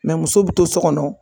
muso bi to so kɔnɔ.